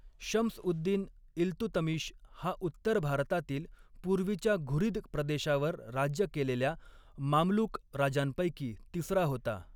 शम्सउद्दिन इल्तुतमिश हा उत्तर भारतातील पूर्वीच्या घुरीद प्रदेशावर राज्य केलेल्या मामलुक राजांपैकी तिसरा होता.